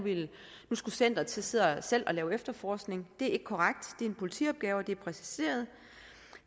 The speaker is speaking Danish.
skulle centeret selv til at lave efterforskning det er ikke korrekt det er en politiopgave og det er præciseret